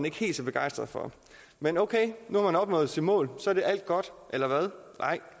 ikke helt så begejstret for men okay nu har man opnået sine mål så er alt godt eller hvad nej